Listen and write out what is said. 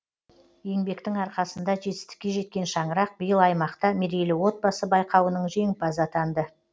еңбектің арқасында жетістікке жеткен шаңырақ биыл аймақта мерейлі отбасы байқауының жеңімпазы атанды